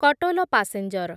Katol passenger